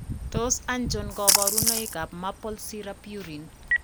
Tos achon kabarunaik ab Maple syrup urine ?